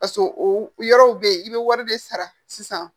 o yɔrɔw be yen i bɛ wari de sara sisan